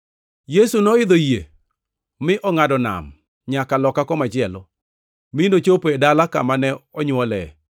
Yesu noidho yie mi ongʼado nam nyaka loka komachielo, mi nochopo e dala kama ne onywole.